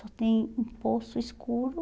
Só tem um poço escuro